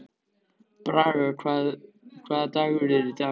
Braga, hvaða dagur er í dag?